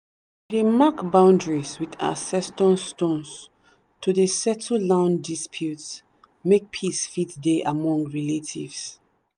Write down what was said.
dey mark boundaries with ancestor stones to dey settle land disputes make peace fit dey among relatives.